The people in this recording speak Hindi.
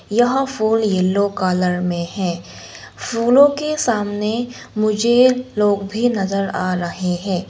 यह फोन येलो कलर में है फूलों के सामने मुझे लोग भी नजर आ रहे हैं।